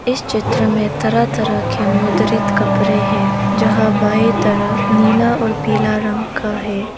इस चित्र में तरह तरह के मुद्रित कपड़े हैं जहां बाई तरफ नीला और पीला रंग का है।